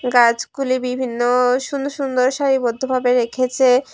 গাছগুলি বিভিন্ন সুন্দর সুন্দর সারিবদ্ধ ভাবে রেখেছে।